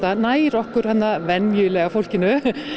nær okkur venjulega fólkinu